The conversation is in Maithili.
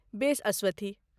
बेस, अस्वथी।